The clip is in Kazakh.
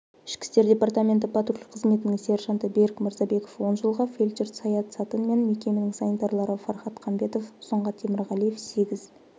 ішкі істер департаменті патруль қызметінің сенжанты берік мырзабеков он жылға фельдшер саят сатын мен мекеменің санитарлары фархат қамбетов сұңғат темірғалиев сегіз